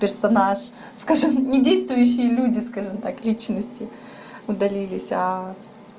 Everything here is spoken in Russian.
персонаж скажи недействующие люди скажем так личности удалились а